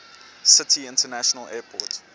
city international airport